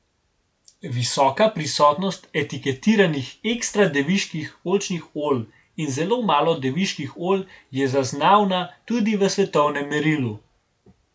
Visoka prisotnost etiketiranih ekstra deviških oljčnih olj in zelo malo deviških olj je zaznavna tudi v svetovnem merilu.